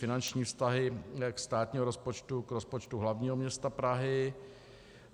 Finanční vztah státního rozpočtu k rozpočtu hlavního města Prahy